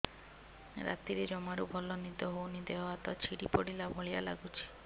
ରାତିରେ ଜମାରୁ ଭଲ ନିଦ ହଉନି ଦେହ ହାତ ଛିଡି ପଡିଲା ଭଳିଆ ଲାଗୁଚି